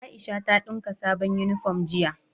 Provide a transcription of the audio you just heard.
Aisha ta dinka sabon uniform jiya